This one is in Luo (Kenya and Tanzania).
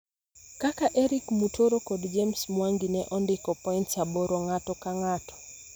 kaka Erick Mutoro kod James Mwangi ne ondiko points aboro ng'ato ka ng'ato.